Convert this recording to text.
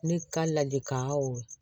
Ne ka ladilikan o